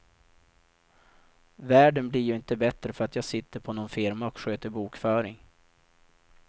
Världen blir ju inte bättre för att jag sitter på nån firma och sköter bokföring.